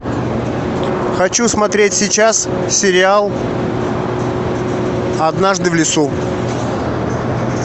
хочу смотреть сейчас сериал однажды в лесу